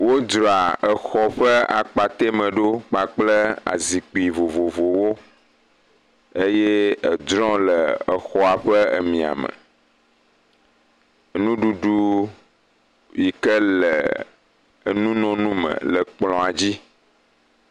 Wòdzra exɔ ƒe akpate me ɖo kple zikpui vovovowo eye edrɔ̃le exɔa ƒe emia me. Nuɖuɖu yike le enu nono me le kplɔa dzi.